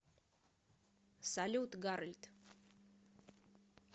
салют гарольд